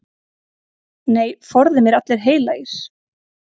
Nei, forði mér allir heilagir.